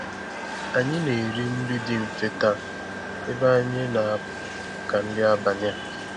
Anyị na-eri nri dị mfe taa ebe anyị ga-apụ màkà nri abalị a.